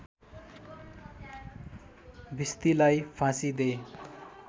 भिस्तीलाई फाँसी दे